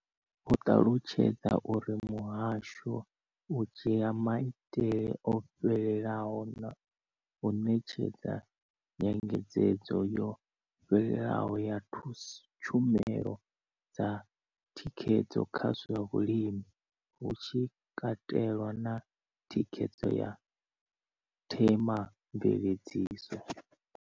Vho ṱalutshedza uri muhasho u dzhia maitele o fhelelaho na u ṋetshedza nyengedzedzo yo fhelelaho ya tshumelo dza thikhedzo kha zwa vhulimi, hu tshi katelwa na thikhedzo ya Thema mveledziso.